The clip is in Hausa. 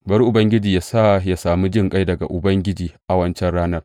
Bari Ubangiji yă sa yă sami jinƙai daga Ubangiji a wancan ranar!